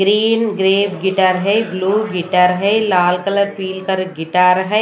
Green grey guitar है blue guitar है लाल कलर पीली कलर गिटार है।